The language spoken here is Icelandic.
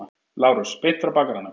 LÁRUS: Beint frá bakaranum.